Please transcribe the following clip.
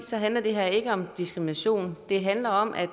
handler det her ikke om diskrimination det handler om at